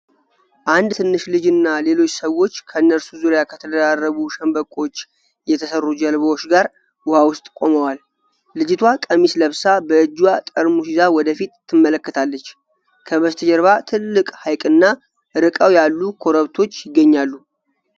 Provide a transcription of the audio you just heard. አንድ ትንሽ ልጅ እና ሌሎች ሰዎች ከእነርሱ ዙሪያ ከተደራረቡ ሸምበቆዎች የተሰሩ ጀልባዎች ጋር ውሃ ውስጥ ቆመዋል። ልጅቷ ቀሚስ ለብሳ በእጇ ጠርሙስ ይዛ ወደ ፊት ትመለከታለች። ከበስተጀርባ ትልቅ ሐይቅና ርቀው ያሉ ኮረብቶች ይገኛሉ።